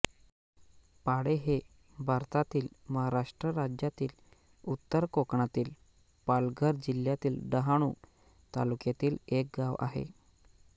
पाळे हे भारतातील महाराष्ट्र राज्यातील उत्तर कोकणातील पालघर जिल्ह्यातील डहाणू तालुक्यातील एक गाव आहे